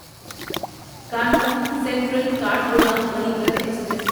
Kanpur Central Kathgodam Garib Rath express